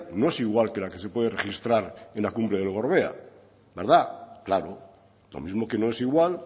no es igual que la que se puede registrar en la cumbre del gorbea claro lo mismo que no es igual